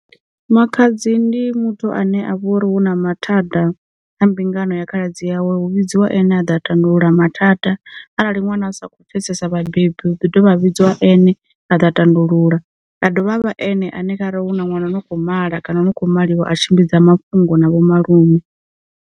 Makhadzi ndi muthu ane a vha uri hu na mathada a mbingano ya khaladzi yawe hu vhidziwa ene a ḓa tandulula mathada, arali ṅwana a sa kho pfesesa vhabebi hu ḓi dovha vhidziwa ane a ḓa tandulula, ha dovha ha vha ene ane kharali hu na ṅwana no khou mala kana no kho maliwa a tshimbidza mafhungo na vho malume.